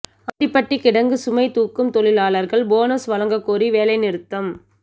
ஆண்டிபட்டி கிடங்கு சுமை தூக்கும் தொழிலாளர்கள் போனஸ் வழங்கக் கோரி வேலை நிறுத்தம்